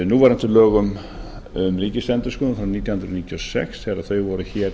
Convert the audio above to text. núverandi lögum um ríkisendurskoðun frá nítján hundruð níutíu og sex þegar þau voru hér